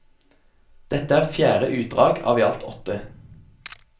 Dette er fjerde utdrag av i alt åtte.